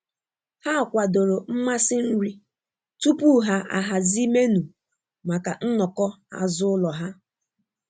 Ha kwadoro mmasị nri tupu ha ahazi menu maka nnọkọ azụlo ha.